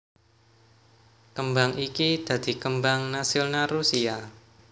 Kembang iki dadi kembang nasional Rusia